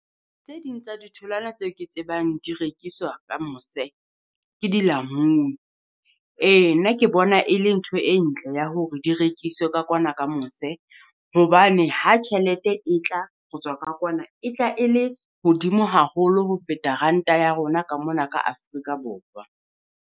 Tse ding tsa ditholwana tse ke tsebang di rekiswa ka mose, ke dilamuni, ee nna ke bona e le ntho e ntle ya hore di rekiswe ka kwana ka mose. Hobane ha tjhelete e tla tswa ho tswa ka kwana, e tla e le hodimo haholo ho feta ranta ya rona ka mona ka Afrika Borwa.